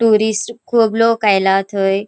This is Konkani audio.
टुरिस्ट खूब लोक आयला थय.